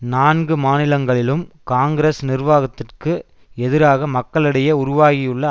நான்கு மாநிலங்களிலும் காங்கிரஸ் நிர்வாகத்திற்கு எதிராக மக்களிடையே உருவாகியுள்ள